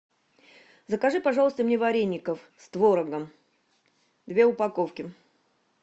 закажи пожалуйста мне вареников с творогом две упаковки